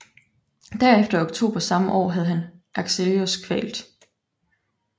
Derefter i oktober samme år havde han Alexios kvalt